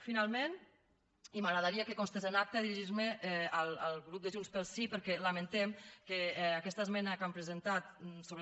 finalment i m’agradaria que constés en acta dirigir me al grup de junts pel sí perquè lamentem que aquesta esmena que han presentat sobre